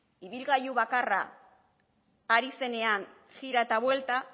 ibilgailu bakarra ari zenean jira eta buelta